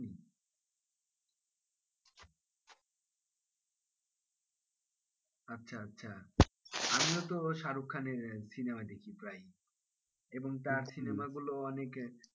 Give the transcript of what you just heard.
আচ্ছা আচ্ছা আমিও তো শাহরুখ খানের cinema দেখি প্রায়ই এবং তার cinema গুলোও অনেক,